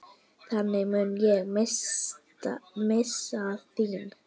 Þannig mun ég minnast þín.